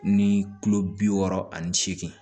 Ni kulo bi wɔɔrɔ ani seegin